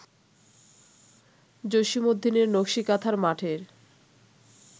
জসীমউদ্দীনের নকসী কাঁথার মাঠ-এর